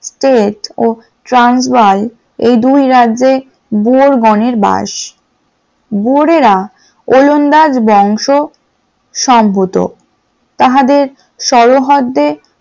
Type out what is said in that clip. Put ও ট্রান্সবার্গ এই দুই রাজ্যে বোরগণের বাস । বরেরা ওলন্দাজ বংশ সম্মত তাহাদের সরোহদদের,